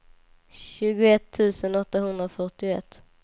tjugoett tusen åttahundrafyrtioett